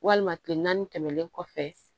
Walima kile naani tɛmɛlen kɔfɛ